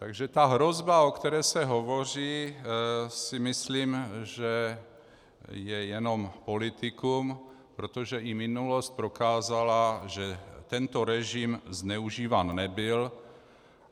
Takže ta hrozba, o které se hovoří, si myslím, že je jenom politikum, protože i minulost prokázala, že tento režim zneužíván nebyl.